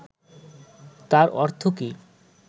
তার অর্থ কী